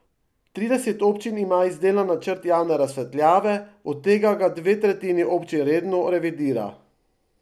Trideset občin ima izdelan načrt javne razsvetljave, od tega ga dve tretjini občin redno revidira.